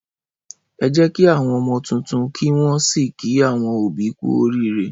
Ẹ kí àwọn ọmọ tuntun kí wọ́n sì kí àwọn òbí kú oríire.